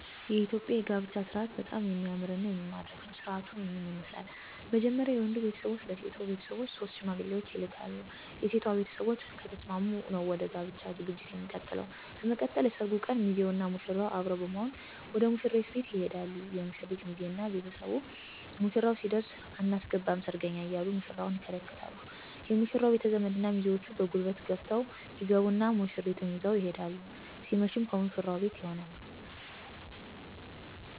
የኢትዮጵያ የጋብቻ ስርአት በጣም የሚያምርና የሚማርክ ነው። ስርአቱም ይህን ይመስላል። መጀመርያ የወንዱ ቤተሰቦች ለሴቶ ቤተሰቦች ሶስት ሽማግሌዎችን ይልካሉ። (የሴቷ ቤተሰቦች ከተስማሙ ነው ወደ ጋብቻው ዠግጂት የሚቀጥለው) በመቀጠል የሰርጉ ቀን ሚዜውና ሙሽራው አብረው በመሆን ወደ ሙሽሪት ቤት ይሄዳሉ የሙሽሪት ሚዜ እና ቤተሰቡ ሙሽራው ሲደርስ አናስገባም ሰርገኛ እያሉ ሙሽራውን ይከለክሉት የሙሽራው ቤተዘመድ እና ሚዜዎቹ በጉልበት ገፍተው ይገቡና ሙሽሪትን ይዘው ይሄዳሉ ሲመሽም ከሙሽራው ቤት ይሆናል